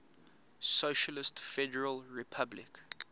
socialist federal republic